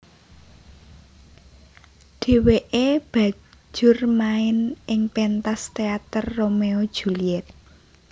Dheweke bajur main ing pentas teater Romeo Juliet